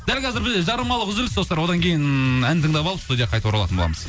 дәл қазір бізде жарнамалық үзіліс достар одан кейін ән тыңдап алып студияға қайта оралатын боламыз